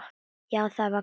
Já, það var gaman.